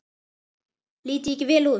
Lít ég ekki vel út?